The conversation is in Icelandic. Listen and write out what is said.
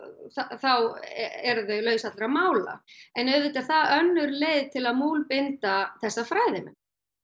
þá eru þau mögulega laus allra málaen auðvitað er það önnur leið til að múlbinda þessa fræðimenn